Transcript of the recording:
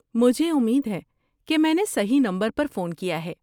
مجھے امید ہے کہ میں نے صحیح نمبر پر فون کیا ہے۔